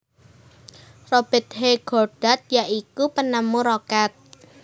Robert H Goddard ya iku penemu Roket